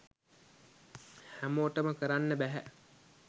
හැමෝටම කරන්න බැහැ.